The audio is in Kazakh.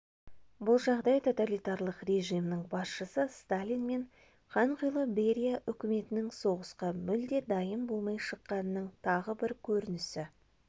бұл жағдай тоталитарлық режимнің басшысы сталин мен қанқұйлы берия үкіметінің соғысқа мүлде дайын болмай шыққанының тағы бір көрінісі